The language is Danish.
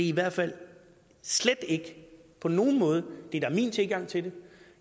i hvert fald slet ikke på nogen måde det der er min tilgang til det